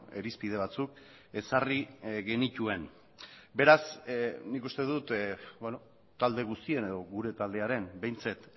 irizpide batzuk ezarri genituen beraz nik uste dut talde guztien edo gure taldearen behintzat